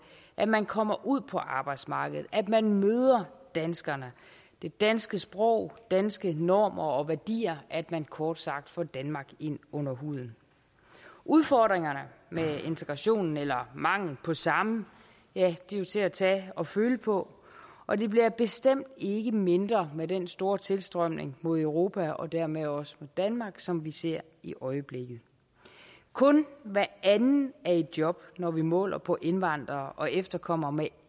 at man kommer ud på arbejdsmarkedet at man møder danskerne det danske sprog danske normer og værdier at man kort sagt får danmark ind under huden udfordringerne med integrationen eller mangel på samme er jo til at tage at føle på og de bliver bestemt ikke mindre med den store tilstrømning mod europa og dermed også danmark som vi ser i øjeblikket kun hver anden er i job når vi måler på indvandrere og efterkommere med